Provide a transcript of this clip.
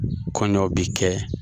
Kɔɲɔn bi kɛ.